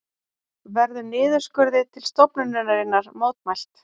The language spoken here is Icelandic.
Verður niðurskurði til stofnunarinnar mótmælt